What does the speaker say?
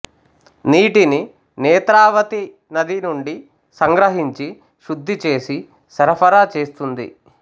నీటిని నేత్రావతి నది నుండి సంగ్రహించి శుద్ధి చేసి సరఫరా చేస్తుంది